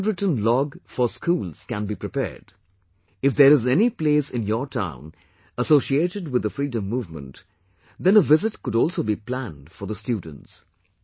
A handwritten log for schools can be prepared... if there is any place in your town associated with the freedom movement, then a visit could also be planned for the students